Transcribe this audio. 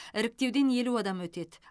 іріктеуден елу адам өтеді